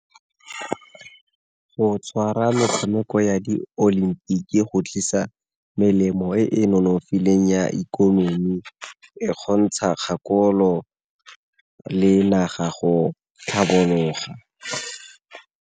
Go tshwara metshameko ya di olimpiki go tlisa melemo e e nonofileng ya ikonomi e kgontsha kgakololo le naga go tlhabologa.